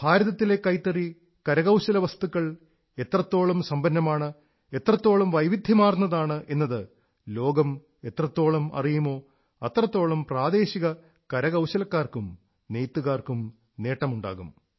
ഭാരതത്തിലെ കൈത്തറി കരകൌശലവസ്തുക്കൾ എത്രത്തോളം സമ്പന്നമാണ് എത്രത്തോളം വൈവിധ്യമാർന്നതാണ് എന്നത് ലോകം എ്രതത്തോളം അറിയുമോ അത്രത്തോളം പ്രാദേശിക കരകൌശലക്കാർക്കും നെയ്ത്തുകാർക്കും നേട്ടമുണ്ടാകും